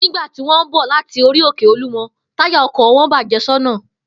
Nígbà tí wó̩n ń bò̩ láti orí-òkè Olúmo̩, táyà o̩kò̩ wo̩n bàjé̩ só̩nà